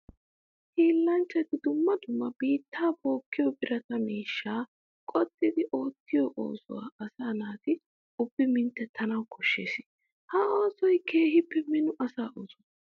Hiillanchchay dumma dumma biitta bookkiyo birata miishsha qoxxiddi oottiyo oosuwa asaa naati ubbi minttetanawu koshees. Ha oosoy keehippe mino asaa ooso.